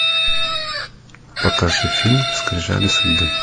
покажи фильм скрижали судьбы